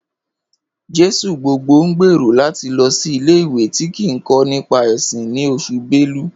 Jesugbogbo ń gbèrò láti lọ sí ilé-ìwé tí ń kọ́ nípa ẹ̀sìn ni Oṣù belú